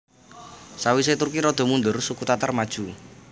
Sawise Turki rada mundur suku Tatar maju